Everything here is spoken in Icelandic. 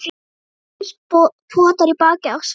Einhver potar í bakið á Svenna.